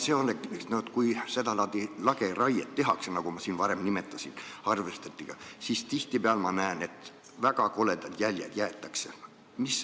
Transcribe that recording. Kui seda laadi lageraiet tehakse, nagu ma varem nimetasin, harvesteridega, siis tihtipeale ma näen, et jäetakse väga koledad jäljed.